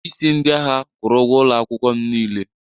onyeisi ndị agha kwụrụ ụgwọ ụlọ akwụkwọ m niile